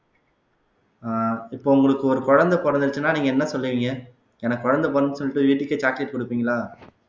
ஆஹ் இப்ப உங்களுக்கு ஒரு குழந்தை பொறந்துருச்சுன்னா நீங்க என்ன சொல்லுவீங்க எனக்கு குழந்தை பிறந்துன்னு சொல்லிட்டு வீட்டுக்கே chocolate கொடுப்பீங்களா